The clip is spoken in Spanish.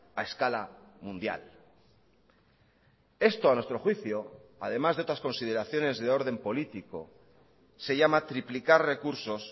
a escala mundial esto a nuestro juicio además de otras consideraciones de orden político se llama triplicar recursos